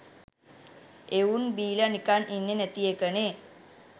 එවුන් බීල නිකන් ඉන්නෙ නැති එකනෙ